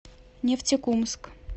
нефтекумск